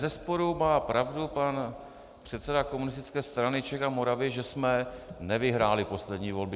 Bezesporu má pravdu pan předseda Komunistické strany Čech a Moravy, že jsme nevyhráli poslední volby.